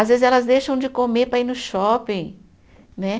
Às vezes elas deixam de comer para ir no shopping. Né